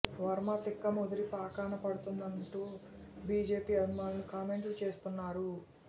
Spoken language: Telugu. వర్మ తిక్క ముదిరి పాకాన పడుతోందంటూ బీజేపీ అభిమానులు కామెంట్లు చేస్తున్నారు